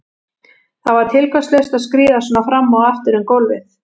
Það var tilgangslaust að skríða svona fram og aftur um gólfið.